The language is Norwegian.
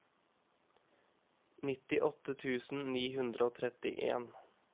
nittiåtte tusen ni hundre og trettien